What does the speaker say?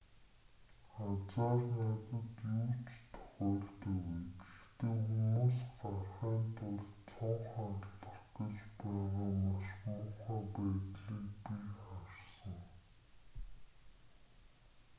азаар надад юу ч тохиолдоогүй гэхдээ хүмүүс гарахын тулд цонх хагалах гэж байгаа маш муухай байдлыг би харсан